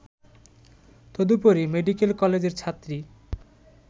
তদুপরি মেডিকেল কলেজের ছাত্রী